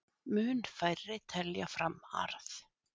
Mun færri telja fram arð